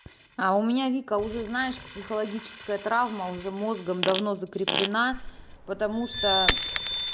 а у меня вика уже знаешь психологическая травма уже мозгом давно закреплена потому что